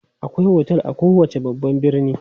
Akwai otel a kowace babban birni.